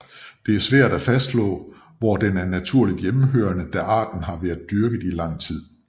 Det er svært at fastslå hvor den er naturligt hjemmehørende da arten har været dyrket i lang tid